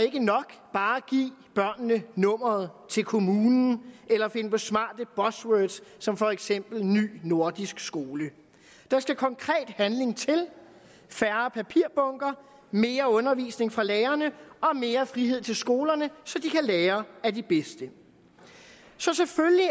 ikke nok bare at give børnene nummeret til kommunen eller finde på smarte buzzwords som for eksempel ny nordisk skole der skal konkret handling til færre papirbunker mere undervisning fra lærerne og mere frihed til skolerne så de kan lære af de bedste så selvfølgelig